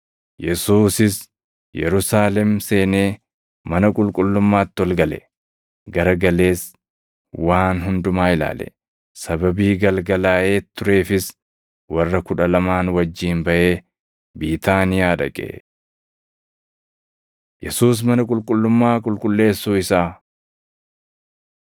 Yesuusis Yerusaalem seenee mana qulqullummaatti ol gale. Gara galees waan hundumaa ilaale; sababii galgalaaʼee tureefis warra Kudha Lamaan wajjin baʼee Biitaaniyaa dhaqe. Yesuus Mana Qulqullummaa Qulqulleessuu Isaa 11:12‑14 kwf – Mat 21:18‑22 11:15‑18 kwf – Mat 21:12‑16; Luq 19:45‑47; Yoh 2:13‑16